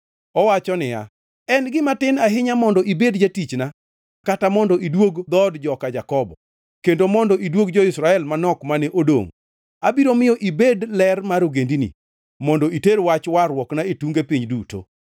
Owacho ni: “En gima tin ahinya mondo ibed jatichna kata mondo iduog dhood joka Jakobo, kendo mondo iduog jo-Israel manok mane odongʼ. Abiro miyo ibed ler mar ogendini, mondo iter wach warruokna e tunge piny duto.”